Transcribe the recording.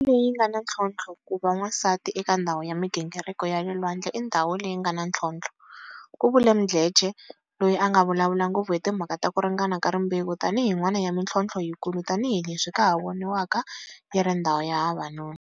Ndhawu leyi nga na ntlhontlho Ku va wansati eka ndhawu ya mi gingiriko ya le lwandlei ndhawu leyi nga na ntlhontlho ku vule Mdletshe, loyi a nga vulavula ngopfu hi timhaka ta ku ringana ka rimbewu tanihi yin'wana ya mitlhonthlo yikulu tanihi leswi ka ha voniwaka yi ri ndhawu ya vavanuna